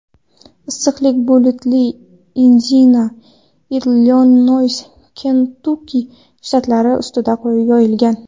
Issiqlik buluti Indiana, Illinoys, Kentukki shtatlari ustida yoyilgan.